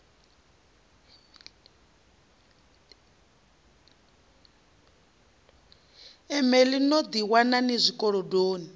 emeḽi no ḓiwana ni zwikolodoni